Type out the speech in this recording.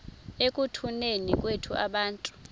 ekutuneni kwethu abantu